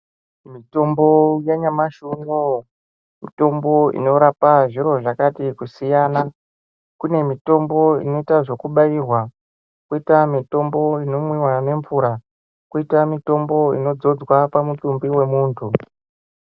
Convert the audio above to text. Mitombo yanyamashi unowu , mitombo inorapa zviro zvakati kusiyana kune mitombo inoita zvekubairwa, kwoita mitombo inomwiwa nemvura, kwoita mitombo inodzodwa pamutumbi wemuntu.